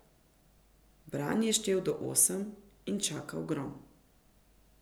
Bran je štel do osem in čakal grom.